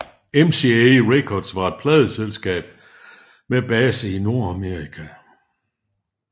MCA Records var et pladeselskab med base i Nordamerika